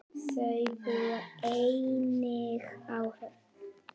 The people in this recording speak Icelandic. Þau búa einnig á Höfn.